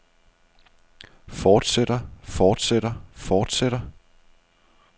fortsætter fortsætter fortsætter